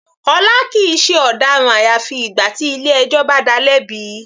Ọlá kìí ṣe ọ̀daràn àyàfi ìgbà tí ilé ẹjọ́ bá dáa lẹ́bi.